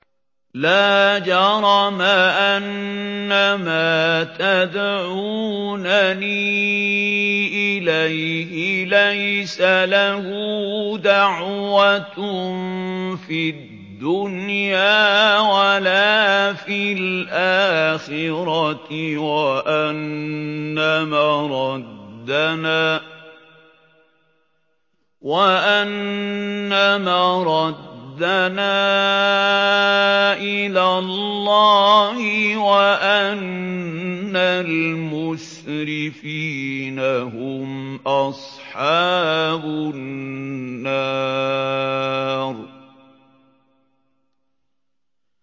لَا جَرَمَ أَنَّمَا تَدْعُونَنِي إِلَيْهِ لَيْسَ لَهُ دَعْوَةٌ فِي الدُّنْيَا وَلَا فِي الْآخِرَةِ وَأَنَّ مَرَدَّنَا إِلَى اللَّهِ وَأَنَّ الْمُسْرِفِينَ هُمْ أَصْحَابُ النَّارِ